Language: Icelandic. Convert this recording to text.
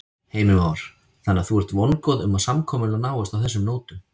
Heimir Már: Þannig að þú ert vongóð um að samkomulag náist á þessum nótum?